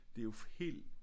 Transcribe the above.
Det er jo helt